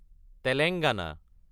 Telangana